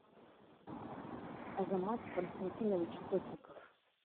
азамат константинович сотников